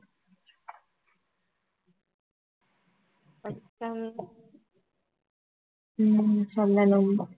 ஹம் சொல்லணும்